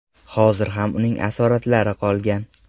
Hozir ham uning asoratlari qolgan.